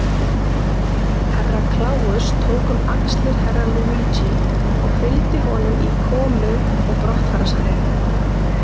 Herra Kláus tók um axlir Herra Luigi og fylgdi honum í komu og brottfararsalinn.